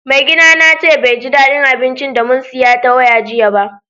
Mai gida na ce bai ji daddin abincin da mun siya ta waya jiya ba.